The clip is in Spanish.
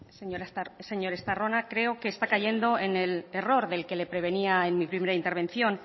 señor estarrona creo que está cayendo en el error del que le prevenía en mi primera intervención